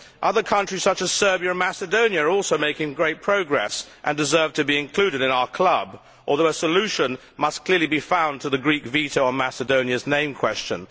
Other countries such as Serbia and Macedonia are also making great progress and deserve to be included in our club, although a solution must clearly be found for the Greek veto on Macedonia's name question.